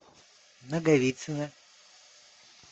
наговицына